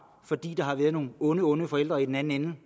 fordi der har været nogle onde onde forældre i den anden ende